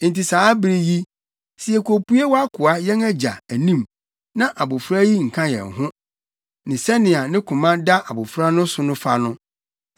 “Enti saa bere yi, sɛ yekopue fi wʼakoa, yɛn agya, anim na abofra yi nka yɛn ho, ne sɛnea ne koma da abofra no so fa no,